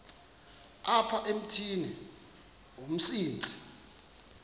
apha emithini umsintsi